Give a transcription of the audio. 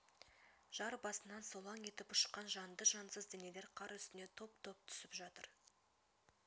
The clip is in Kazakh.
жар басынан солаң етіп ұшқан жанды-жансыз денелер қар үстіне топ-топ түсіп жатыр